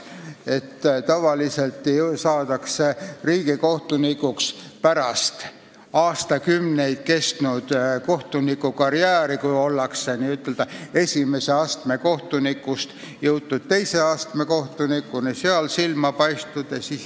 Tavaliselt saadakse riigikohtunikuks pärast aastakümneid kestnud kohtunikukarjääri, kui esimese astme kohtuniku ametist on jõutud teise astme kohtuniku ametisse ja seal silma paistetud.